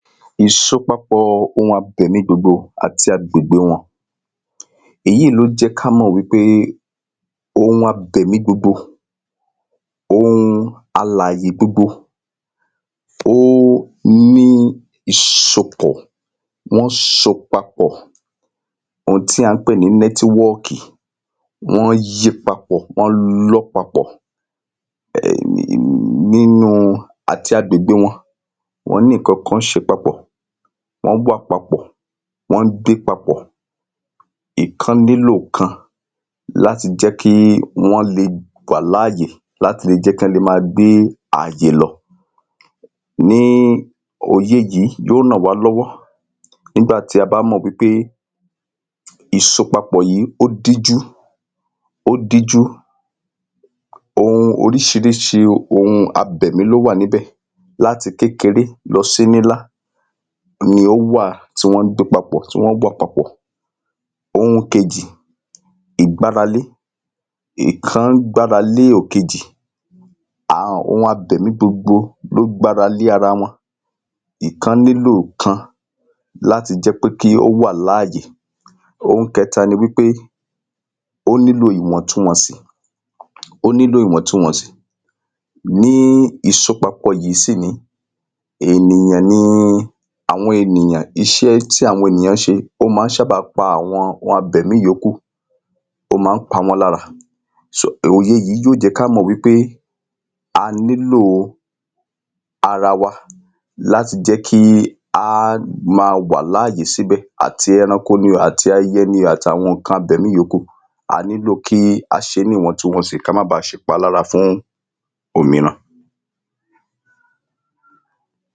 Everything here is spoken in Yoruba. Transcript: ìṣopapọ̀ ohun abẹ̀mí gbogbo àti agbègbè wọn èyíìí ló jẹ́ ká mọ̀ wí pé ohun abẹ̀mí gbogbo, ohun alàyè gbogbo, ó ní ìṣopọ̀. wọ́n ṣo papọ̀, ohun ti à ń pè ní nẹ́tíwọ́ọ̀kì, wọ́n yí papọ̀, wọ́n lọ́ papọ̀ um nínúu àti agbègbè wọn, wọ́n ní ǹkánkan ṣe papọ̀, wọ́n wà papọ̀, wọ́n ń dé papọ̀, ìkan nílò kan láti jẹ́ kí wọ́n le wà láàyè láti le jẹ́ kán le máa gbé ààyè lọ. ní, òye yìí yó nà wá lọ́wọ́ nígbà tí a bá mọ̀ wí pé ìsopapoọ̀ yìí ó díjú, ó díjú. ohun oríṣiríṣi ohun abẹ̀mí ló wà níbẹ̀ láti kékeré lọ sí nílá ni ó wà tí wọ́n ń gbé papọ̀, tí wọ́n wà papọ̀. ohun kejì, ìgbáralé. ìkán gbára lé òkejì. um ohun abẹ̀mí gbogbo ló gbára lé ara wọn. ìkan nílò kan láti jẹ́ pé kí ó wà láàyè. ohun kẹta ni wí pé ó nílò ìwọ̀ntunwọ̀nsì. ó nílò ìwọ̀ntunwọ̀nsì. ní ìṣopapọ̀ yìí sì nìí, ènìyàn ni àwọn ènìyàn iṣé tí àwọn ènìyàn ṣe, ó má ń ṣábàa pa àwọn ohun abẹ̀mí yòókù, ó ma ń pa wọ́n lára. [so] òye yí yó jẹ́ ká mọ̀ wí pé a nílò ara wa láti jẹ́ kí á ma wà láàyè síbẹ̀ àti ẹranko ní o àti ẹyẹ ni o àti àwọn ǹkan abẹ̀mí yòókù, a nílò kí a ṣé é ní ìwọ̀ntunwọ̀nsì ká má ba ṣèpalára fún òmíràn.